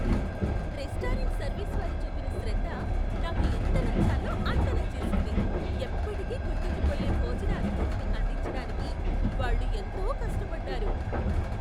Restaurant service వారు చూపిన శ్రద్ధ నాకు ఎంత నచ్చాలో అంత నచ్చేసింది, ఎప్పటికీ గుర్తుండిపోయే భోజన అనుభూతిని అందించడానికి వాళ్ళు ఎంతో కష్టపడ్డారు.